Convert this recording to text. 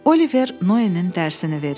Oliver Noenin dərsini verir.